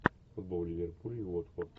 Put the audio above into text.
футбол ливерпуль уотфорд